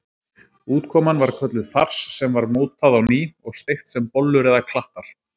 Útkoman var kölluð fars sem var mótað á ný og steikt sem bollur eða klattar.